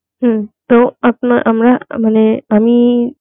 হুম তো আপনা আমরা মানে আমি